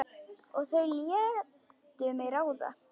Og þau létu mig ráða.